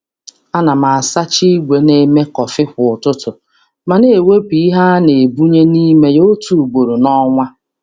A na m asacha igwe na-eme kọfị kwa ụtụtụ, ma na ewepụ ihe a na-ebunye n'ime ya otu ugboro n'ọnwa.